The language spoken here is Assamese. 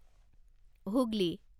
হুগলী